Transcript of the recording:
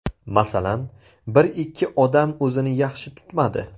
Masalan, bir-ikki odam o‘zini yaxshi tutmadi.